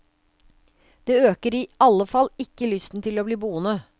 Det øker i alle fall ikke lysten til å bli boende.